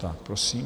Tak, prosím.